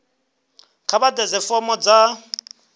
kha vha ḓadze fomo dza